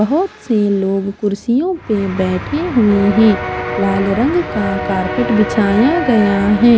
बहोत से लोग कुर्सियों पे बैठे हुए हैं लाल रंग का कारपेट बिछाया गया है।